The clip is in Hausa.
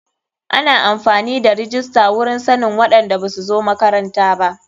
Ana amfani da rijista wurin sannin waɗanda basu zo makaranta ba.